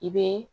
I bɛ